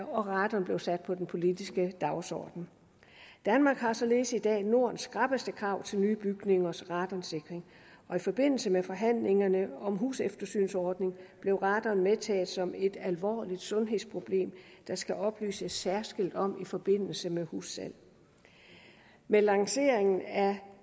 og radon blev sat på den politiske dagsorden danmark har således i dag nordens skrappeste krav til nye bygningers radonsikring og i forbindelse med forhandlingerne om en huseftersynsordning blev radon medtaget som et alvorligt sundhedsproblem der skal oplyses særskilt om i forbindelse med hussalg med lanceringen af